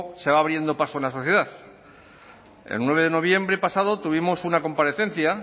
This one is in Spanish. se va abriendo paso en la sociedad el nueve de noviembre pasado tuvimos una comparecencia